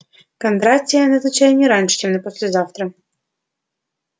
кондратия назначай не раньше чем на послезавтра